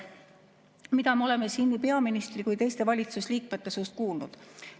Mida me oleme siin nii peaministri kui ka teiste valitsusliikmete suust kuulnud?